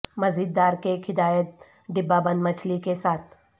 مزیدار کیک ہدایت ڈبہ بند مچھلی کے ساتھ